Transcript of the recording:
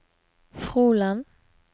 Froland